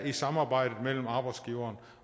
i samarbejdet mellem arbejdsgiveren